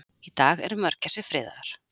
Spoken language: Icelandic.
í dag eru mörgæsir friðaðar